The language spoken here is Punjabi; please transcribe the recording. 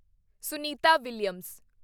ਸੁਨੀਤਾ ਵਿਲੀਅਮਜ਼